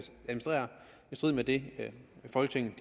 strid med det folketinget